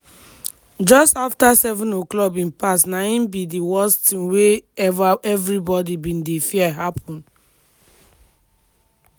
just afta 07:00 bin pass na im be di worst tin wey evribodi bin dey fear happun.